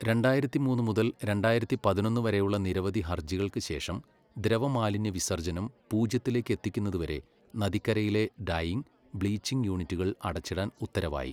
രണ്ടായിരത്തി മൂന്ന് മുതൽ രണ്ടായിരത്തി പതിനൊന്ന് വരെയുള്ള നിരവധി ഹർജികൾക്ക് ശേഷം, ദ്രവമാലിന്യവിസർജ്ജനം പൂജ്യത്തിലേക്ക് എത്തിക്കുന്നതുവരെ നദിക്കരയിലെ ഡൈയിംഗ്, ബ്ലീച്ചിംഗ് യൂണിറ്റുകൾ അടച്ചിടാൻ ഉത്തരവായി.